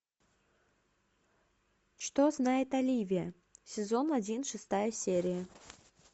что знает оливия сезон один шестая серия